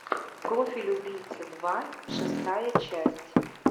профиль убийцы два шестая часть